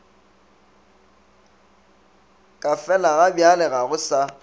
ka felagabjale ga go sa